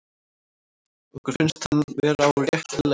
Okkur finnst hann vera á réttri leið.